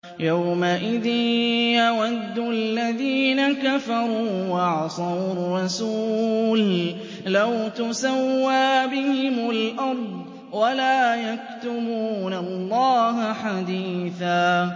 يَوْمَئِذٍ يَوَدُّ الَّذِينَ كَفَرُوا وَعَصَوُا الرَّسُولَ لَوْ تُسَوَّىٰ بِهِمُ الْأَرْضُ وَلَا يَكْتُمُونَ اللَّهَ حَدِيثًا